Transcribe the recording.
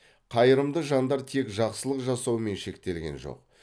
қайырымды жандар тек жақсылық жасаумен шектелген жоқ